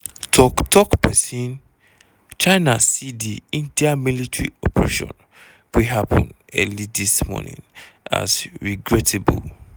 tok tok pesin "china see di india military operation wey happun early dis morning as regrettable.